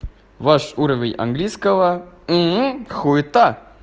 ваш уровень английского хуита